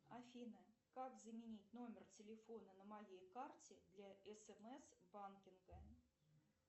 афина как заменить номер телефона на моей карте для смс банкинга